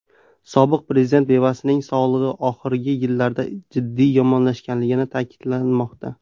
Sobiq prezident bevasining sog‘lig‘i oxirgi yillarda jiddiy yomonlashganligi ta’kidlanmoqda.